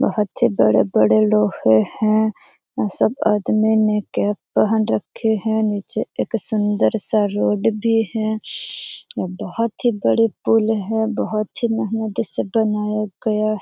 बहुत से बड़े-बड़े लोहे है यहां सब आदमी ने कैप पहन रखी है नीचे एक सुंदर सा रोड भी है बहुत ही बड़े पुल है बहुत ही मेहनती से बनाया गया।